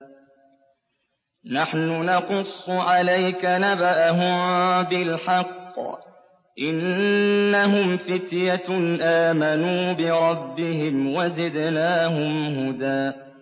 نَّحْنُ نَقُصُّ عَلَيْكَ نَبَأَهُم بِالْحَقِّ ۚ إِنَّهُمْ فِتْيَةٌ آمَنُوا بِرَبِّهِمْ وَزِدْنَاهُمْ هُدًى